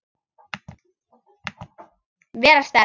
Vera sterk.